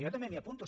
jo també m’hi apunto